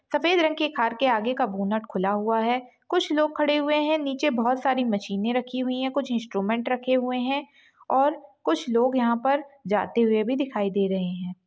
सफेद रंग की कार के आगे का बोनट खुला हुआ है कुछ लोग खड़े हुए हैं नीचे बहोत सारी मशीने रखी हुई हैं कुछ इंस्ट्रूमेंट रखे हुए हैं और कुछ लोग यहांँ जाते हुए भी दिखाई दे रहे हैं ।